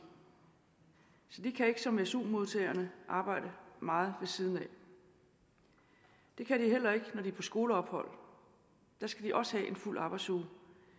så de kan ikke som su modtagerne arbejde meget ved siden af det kan de heller ikke når de er på skoleophold der skal de også have en fuld arbejdsuge